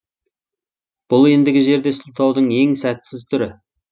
бұл ендігі жерде сылтаудың ең сәтсіз түрі